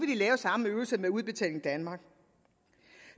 de lave samme øvelse med udbetaling danmark